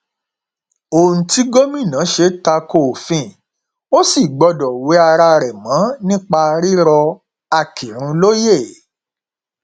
ohun tí gómìnà ṣe ta ko òfin ò sì gbọdọ wẹ ara rẹ mọ nípa rírọ akinrun lóye